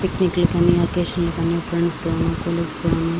picnic లకు అని occasion లకు అని ఫ్రెండ్స్ తోను కోలీగ్స్ తోను --